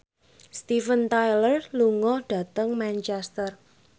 Steven Tyler lunga dhateng Manchester